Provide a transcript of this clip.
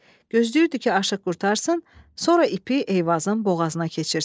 Gözləyirdi ki, aşiq qurtarsın, sonra ipi Eyvazın boğazına keçirsin.